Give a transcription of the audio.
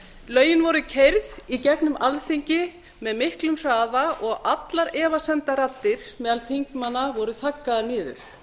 lögin voru keyrð í gegnum alþingi með miklum hraða og allar efasemdarraddir meðal þingmanna voru þaggaðar niður